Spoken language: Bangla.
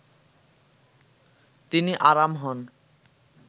তিনি আরাম হন